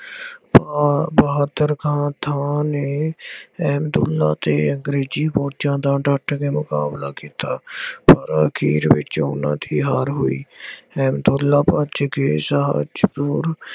ਬਹਾ ਬਹਾਦਰ ਖਾਨ ਥਾਂ ਨੇ ਅਹਿਮਦਉੱਲਾ ਅਤੇ ਅੰਗਰੇਜ਼ੀ ਫੋਜ਼ਾਂ ਦਾ ਡੱਟ ਕੇ ਮੁਕਾਬਲਾ ਕੀਤਾ। ਪਰ ਆਖੀਰ ਵਿੱਚ ਉਹਨਾ ਦੀ ਹਾਰ ਹੋਈ। ਅਹਿਮਦਉੱਲਾ ਭੱਜ ਕੇ ਸ਼ਾਹਜਨੂਰ